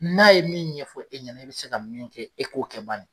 N'a ye min ɲɛfɔ e ɲɛna i bɛ se ka min kɛ e k'o kɛ bani.